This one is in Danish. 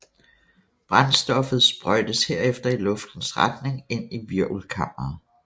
Brændstoffet sprøjtes herefter i luftens retning ind i hvirvelkammeret